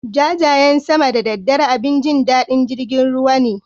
Jajayen sama da daddare abin jin daɗin jirgin ruwa ne.